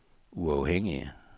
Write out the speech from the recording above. uafhængige